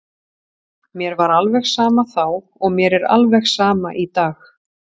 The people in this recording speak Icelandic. Mér var alveg sama þá og mér er alveg sama í dag.